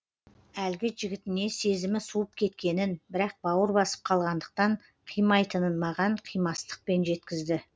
әлгі жігітіне сезімі суып кеткенін бірақ бауыр басып қалғандықтан қимайтынын маған қимастықпен жеткізді